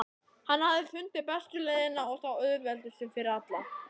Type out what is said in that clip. Hann hafði fundið bestu leiðina og þá auðveldustu fyrir alla.